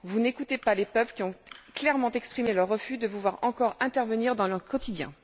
Vous n'écoutez pas les peuples qui ont clairement exprimé leur refus de vous voir encore intervenir dans leur quotidien.